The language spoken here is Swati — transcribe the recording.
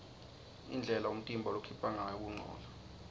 indlela umtimba lokhipha ngayo kungcola